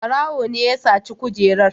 Ɓarawo ne ya saci kujerar.